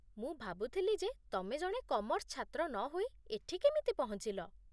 ମୁଁ ଭାବୁଥିଲି ଯେ ତମେ ଜଣେ କମର୍ସ ଛାତ୍ର ନହୋଇ ଏଠି କେମିତି ପହଞ୍ଚିଲ